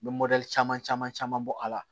N bɛ caman caman caman bɔ a la